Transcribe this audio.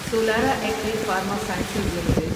Solara Active Pharma Sciences limited